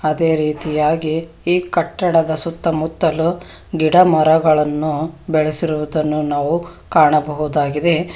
ಅದೇ ರೀತಿಯಾಗಿ ಈ ಕಟ್ಟಡದ ಸುತ್ತಮುತ್ತಲು ಗಿಡಮರಗಳನ್ನು ಬೆಳೆಸಿರುವುದನ್ನು ನಾವು ಕಾಣಬಹುದಾಗಿದೆ.